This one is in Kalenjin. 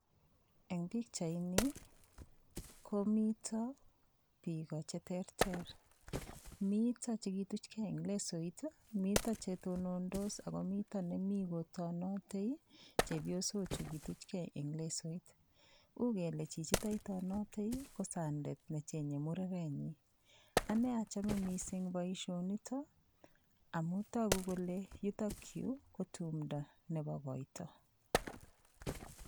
Eng' pikchaini komito biko cheterter mito chekituchkei eng' leaoit mito chetonondos ako mito nemi kotonotei chepyosochu kituchkei eng' leaoit uu kele chichito itonotei ko sandet nechenyei murerenyi ane achome mising' boishonito amun toku kole yutokyu ko tumdo nebo koito